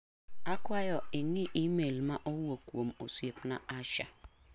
Akwayo ing'i imel ma owuok kuom osiepna Asha.